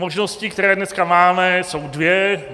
Možnosti, které dneska máme, jsou dvě.